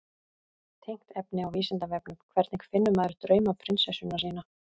Tengt efni á Vísindavefnum: Hvernig finnur maður draumaprinsessuna sína?